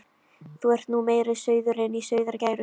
Þú ert nú meiri sauðurinn í sauðargæru.